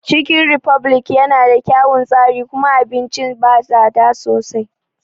Cikin refublik ya na da kyaun tsari kuma abincin ba tsada sosai